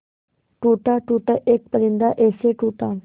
टूटा टूटा एक परिंदा ऐसे टूटा